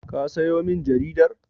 Ka sayo min jaridar?